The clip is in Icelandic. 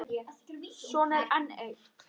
Svo er enn eitt.